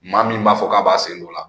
Maa min b'a fɔ k'a b'a sen dɔ o la